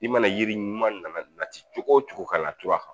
I mana yiri ɲuman nana nati cogo cogo ka na turu kan